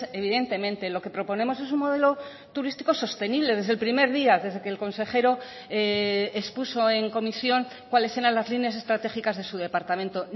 evidentemente lo que proponemos es un modelo turístico sostenible desde el primer día desde que el consejero expuso en comisión cuáles eran las líneas estratégicas de su departamento